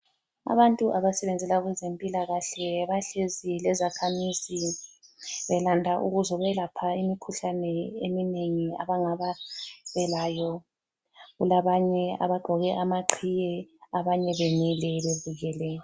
Abantu abasebenzela kwezempilakahle bahlezi lezakhamizi belande ukuzobelapha imikhuhlane eminengi abangabe belayo. Kulabanye abagqoke amaqhiye abanye bemile bebukele.